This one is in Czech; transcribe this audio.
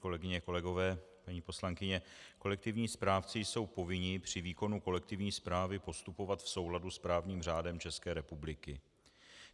Kolegyně, kolegové, paní poslankyně, kolektivní správci jsou povinni při výkonu kolektivní správy postupovat v souladu s právním řádem České republiky.